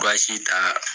ta